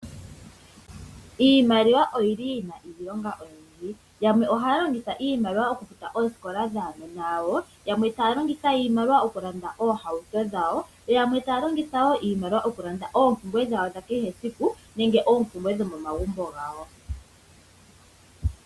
Iimaliwa oyili yina iilonga oyindji, yamwe ohaya longitha iimaliwa okufuta oosikola dhaanona yawo, yamwe taya longitha iimaliwa okulanda oohauto dhawo, yamwe taya longitha wo iimaliwa okulanda oompumbwe dhawo dhakehe esiku nenge oompumbwe dhomomagumbo gawo.